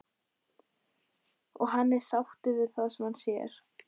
Og hann er sáttur við það sem hann sér.